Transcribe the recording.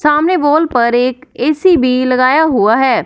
सामने वाल पर एक ए_सी भी लगाया हुआ है।